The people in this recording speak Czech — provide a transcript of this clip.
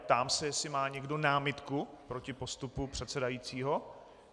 Ptám se, jestli má někdo námitku proti postupu předsedajícího.